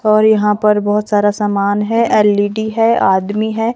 और यहां पर बहोत सारा सामान है एल_ई_डी है आदमी है।